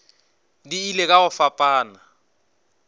di ile ka go fapana